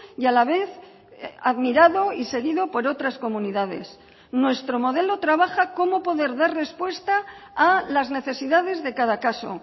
y a la vez admirado y seguido por otras comunidades nuestro modelo trabaja cómo poder dar respuesta a las necesidades de cada caso